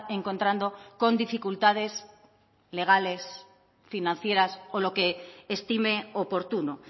encontrando con dificultades legales financieras o lo que estime oportuno